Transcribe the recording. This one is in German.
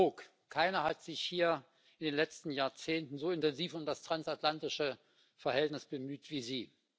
Herr Brok, keiner hat sich hier in den letzten Jahrzehnten so intensiv um das transatlantische Verhältnis bemüht wie Sie.